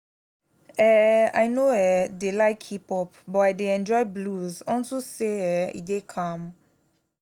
um i no um dey like hip hop but i dey enjoy blues unto say um e dey calm